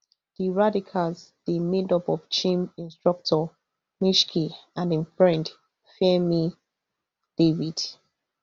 di radicals dey made up of gym instructor michky and im friend fairme david